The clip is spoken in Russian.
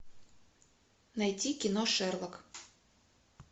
найди кино шерлок